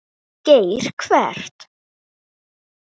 Geir Evert.